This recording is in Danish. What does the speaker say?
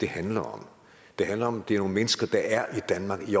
handler om det handler om det er nogle mennesker der er i danmark i